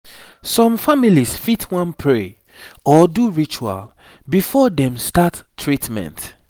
some families fit wan pray or do ritual before dem start treatment